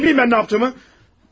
Canım, nə bilim mən nə yapdığımı?